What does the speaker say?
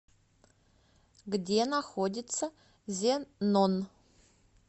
где находится зенон